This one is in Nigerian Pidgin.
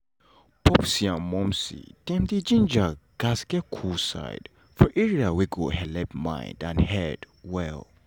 popsi and momsi dem dey ginger gats get cool side for area wey go helep mind and head well.